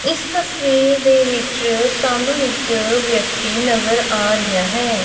ਇੱਸ ਤਸਵੀਰ ਦੇ ਵਿੱਚ ਸਾਨੂੰ ਇੱਕ ਵਿਅਕਤੀ ਨਜ਼ਰ ਆ ਰਿਹਾ ਹੈ।